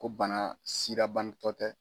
Ko bana banatɔ tɛ.